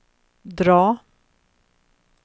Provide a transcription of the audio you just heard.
drag